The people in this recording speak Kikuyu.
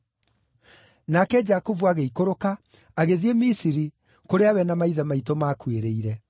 Nake Jakubu agĩikũrũka, agĩthiĩ Misiri, kũrĩa we na maithe maitũ maakuĩrĩire.